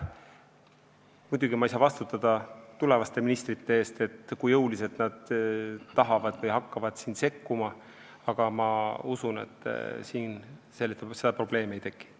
Muidugi ei saa ma vastutada tulevaste ministrite eest, ma ei tea, kui jõuliselt nad hakkavad siin sekkuma, aga ma usun, et seda probleemi ei teki.